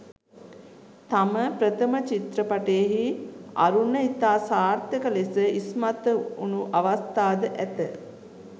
තම ප්‍රථම චිත්‍රපටයෙහි අරුණ ඉතා සාර්ථක ලෙස ඉස්මතු වුණු අවස්ථාද ඇත.